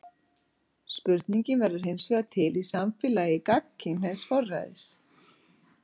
Spurningin verður hinsvegar til í samfélagi gagnkynhneigðs forræðis.